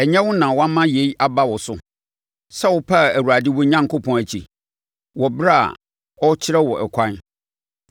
Ɛnyɛ wo na woama yei aba wo so sɛ wopaa Awurade wo Onyankopɔn akyi, wɔ ɛberɛ a ɔrekyerɛ wo ɛkwan?